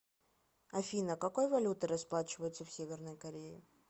афина какой валютой расплачиваются в северной корее